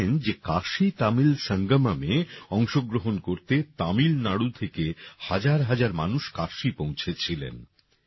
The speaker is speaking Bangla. আপনারা জানেন যে কাশী তামিল সঙ্গমম্এ অংশগ্রহণ করতে তামিলনাড়ু থেকে হাজারহাজার মানুষ কাশী পৌঁছেছিলেন